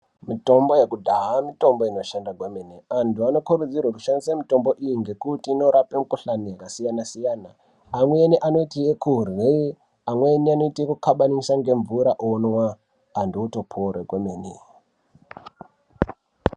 Mitombo yakudhaya, mitombo inoshanda gwemene. Antu vanokurudzirwa kushandise mitombo iyi nekuti inorape mikuhlane yakasiyana siyana. Amweni anoite yekudle, amweni vanoite yekukabanise ngemvura onwa ,antu otopora gwemeni.